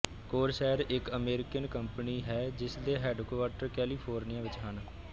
Corsair ਇੱਕ American company ਹੈ ਜਿਸਦੇ ਹੈੱਡਕੁਆਟਰ ਕੈਲੀਫ਼ੋਰਨੀਆ ਵਿੱਚ ਹਨ